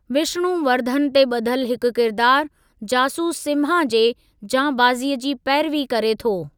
विष्णुवर्धन ते ब॒धलु हिकु किरदारु, जासूस सिम्हा जे जांबाज़ीअ जी पैरिवी करे थो।